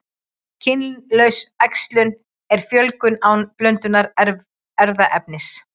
Kynlaus æxlun er fjölgun án blöndunar erfðaefnis.